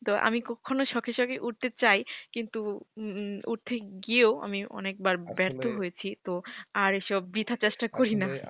তো আমি কখনো শখে শখে উঠতে চাই। কিন্তু উঠতে গিয়েও আমি অনেকবার ব্যর্থ হয়েছি তো আর এসব বৃথা চেষ্টা করি না।